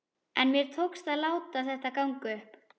En mér tókst ekki að láta þetta ganga upp.